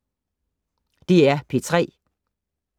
DR P3